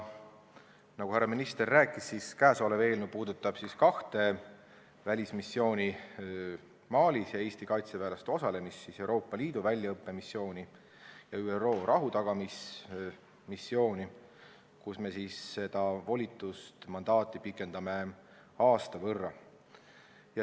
Nagu härra minister rääkis, puudutab kõnealune eelnõu kahte välismissiooni Malis ning Eesti kaitseväelaste osalemist Euroopa Liidu väljaõppemissioonil ja ÜRO rahutagamismissioonil, kus me pikendame mandaati ja volitust aasta võrra.